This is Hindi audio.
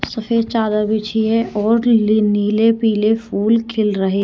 सफेद चादर बिछी है और नीले पीले फूल खिल रहे हैं।